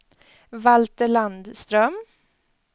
Valter Landström